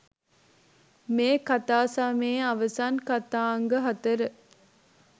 මේ කතාසමයේ අවසන් කතාංග හතර